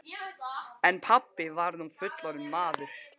En pabbi var nú fullorðinn maður.